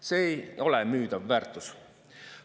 See ei ole müüdav väärtus.